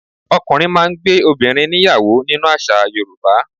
Ọkùnrin máà ń gbé obìrin níyàwó nínú àṣà Yorùbá